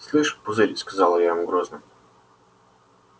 слышь пузырь сказала я ему грозно